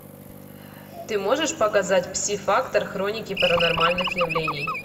ты можешь показать псифактор хроники паранормальных явлений